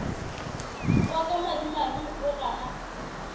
wa ka madimabe o gana